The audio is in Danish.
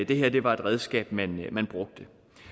det her var et redskab man brugte